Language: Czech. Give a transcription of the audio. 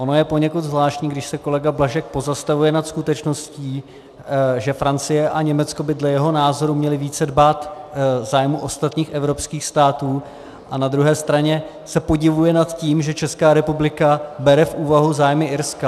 Ono je poněkud zvláštní, když se kolega Blažek pozastavuje nad skutečností, že Francie a Německo by dle jeho názoru měly více dbát zájmů ostatních evropských států, a na druhé straně se podivuje nad tím, že Česká republika bere v úvahu zájmy Irska.